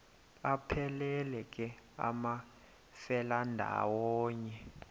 aphelela ke amafelandawonye